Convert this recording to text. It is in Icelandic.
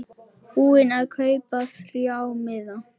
Búinn að kaupa þrjá miða.